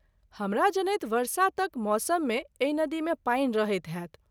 हमरा जनैत वर्षातक मौसम मे एहि नदी मे पानि रहैत होएत।